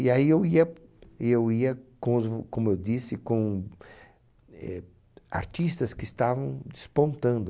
E aí eu ia, eu ia, com os v, como eu disse, com eh artistas que estavam despontando.